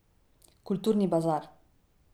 Kulturni bazar.